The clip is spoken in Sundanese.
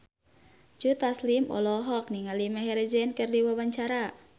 Joe Taslim olohok ningali Maher Zein keur diwawancara